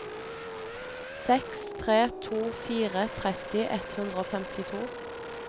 seks tre to fire tretti ett hundre og femtito